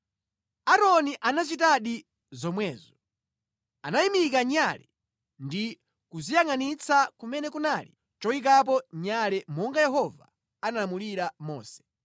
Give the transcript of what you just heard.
Aaroni anachitadi zomwezo. Anayimika nyale ndi kuziyangʼanitsa kumene kunali choyikapo nyale monga Yehova analamulira Mose.